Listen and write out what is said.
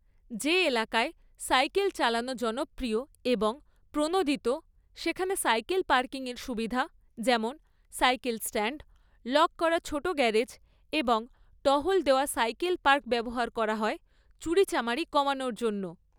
যে এলাকায় সাইকেল চালানো জনপ্রিয় এবং প্রণোদিত, সেখানে সাইকেল পার্কিংয়ের সুবিধা যেমন সাইকেল স্ট্যান্ড, লক করা ছোট গ্যারেজ এবং টহল দেওয়া সাইকেল পার্ক ব্যবহার করা হয় চুরিচামারি কমানোর জন্য।